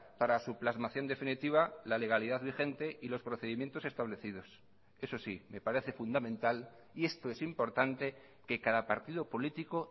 para su plasmación definitiva la legalidad vigente y los procedimientos establecidos eso sí me parece fundamental y esto es importante que cada partido político